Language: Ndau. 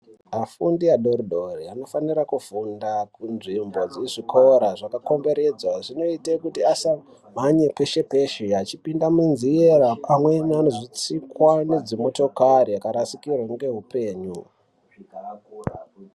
Afundi adoridori tinofanira kufunda munzvimbo dzine zvikora zvakakomberedzwa zvinoite kuti asabvaiyo kweshekweshe achipinda munzira pamwe anozotsikwa nedzimotokari akarasikirwa ngeupenyu.